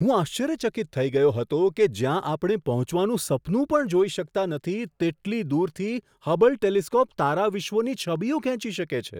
હું આશ્ચર્યચકિત થઈ ગયો હતો કે જ્યાં આપણે પહોંચવાનું સપનું પણ જોઈ શકતા નથી તેટલી દૂરથી હબલ ટેલિસ્કોપ તારાવિશ્વોની છબીઓ ખેંચી શકે છે!